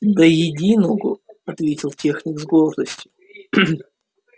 до единого ответил техник с гордостью